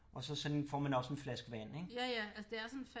Og så sådan får man også en flaske vand ik